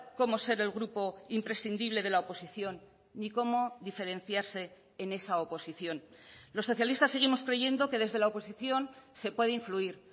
cómo ser el grupo imprescindible de la oposición ni cómo diferenciarse en esa oposición los socialistas seguimos creyendo que desde la oposición se puede influir